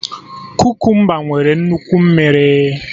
Kukumba nwere nnukwu mmiri